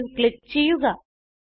save click ചെയ്യുക